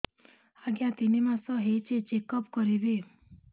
ଆଜ୍ଞା ତିନି ମାସ ହେଇଛି ଚେକ ଅପ କରିବି